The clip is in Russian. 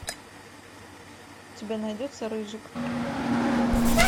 у тебя найдется рыжик